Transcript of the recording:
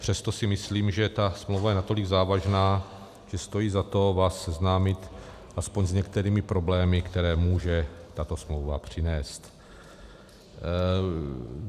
Přesto si myslím, že ta smlouva je natolik závažná, že stojí za to vás seznámit alespoň s některými problémy, které může tato smlouva přinést.